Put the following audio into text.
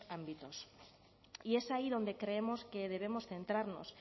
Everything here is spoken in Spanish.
ámbitos y es ahí donde creemos que debemos centrarnos